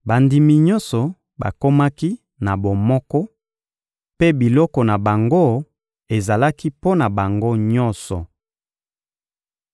Bandimi nyonso bakomaki na bomoko, mpe biloko na bango ezalaki mpo na bango nyonso.